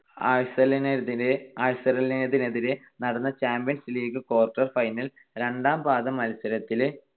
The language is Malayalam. ആഴ്‌സണലിനെതിരെ ~ ആഴ്സണലിനെതിരെ നടന്ന ചാമ്പ്യൻസ് ലീഗ് quarter final രണ്ടാം പാദ മത്സരത്തിൽ